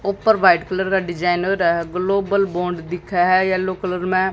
ऊपर white colour का designer है ग्लोबल बॉन्ड दिखा है येलो कलर में।